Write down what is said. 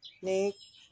Ni